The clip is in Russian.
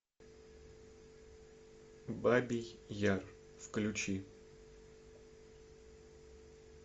бабий яр включи